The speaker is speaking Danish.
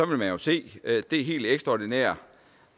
vil man jo se det helt ekstraordinære